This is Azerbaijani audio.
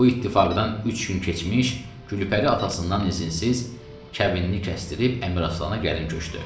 Bu ittifaqdan üç gün keçmiş Gülpəri atasından izinsiz kəbinini kəsdirib Əmir Aslana gəlin köçdü.